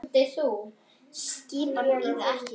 Skipin bíða ekki.